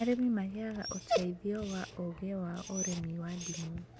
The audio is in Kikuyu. Arĩmi magĩaga ũteithio wa ũũgĩ wa ũrĩmi wa ndimũ